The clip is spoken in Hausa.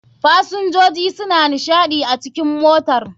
fasinjoji suna nishaɗi a cikn motar.